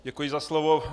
Děkuji za slovo.